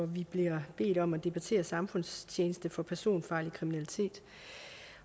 vi bliver bedt om at debattere samfundstjeneste for personfarlig kriminalitet